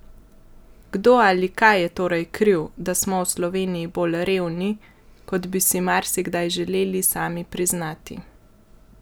Kdo ali kaj je torej kriv, da smo v Sloveniji bolj revni, kot bi si marsikdaj želeli sami priznati?